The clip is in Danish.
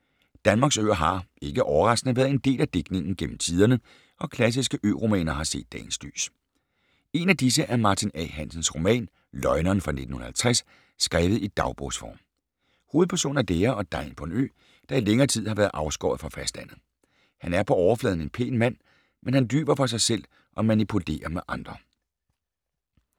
Danmarks øer har, ikke overraskende, været en del af digtningen gennem tiderne, og klassiske ø-romaner har set dagens lys. En af disse er Martin A. Hansens roman Løgneren fra 1950, skrevet i dagbogsform. Hovedpersonen er lærer og degn på en ø, der i længere tid har været afskåret fra fastlandet. Han er på overfladen en pæn mand, men han lyver for sig selv og manipulerer med andre.